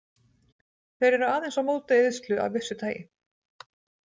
Þeir eru aðeins á móti eyðslu af vissu tagi.